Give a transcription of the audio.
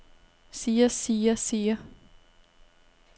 siger siger siger